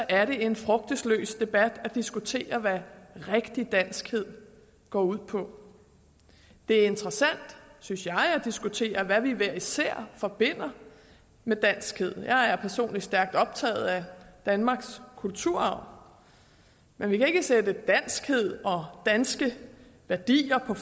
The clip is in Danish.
er det en frugtesløs debat at diskutere hvad rigtig danskhed går ud på det er interessant synes jeg at diskutere hvad vi hver især forbinder med danskhed jeg er personligt stærkt optaget af danmarks kulturarv men vi kan ikke sætte danskhed og danske værdier på